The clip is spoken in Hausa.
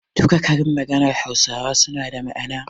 Duka karin maganar hausawa suna da ma'ana.